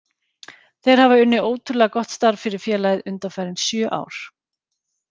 Þeir hafa unnið ótrúlega gott starf fyrir félagið undanfarin sjö ár.